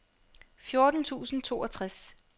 fjorten tusind og toogtres